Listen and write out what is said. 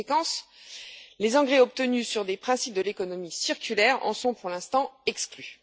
En conséquence, les engrais obtenus sur des principes de l'économie circulaire en sont pour l'instant exclus.